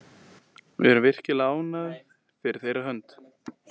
Við erum virkilega ánægð fyrir þeirra hönd.